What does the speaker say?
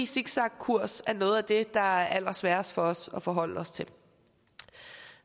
zigzagkurs er noget af det der er allersværest for os at forholde os til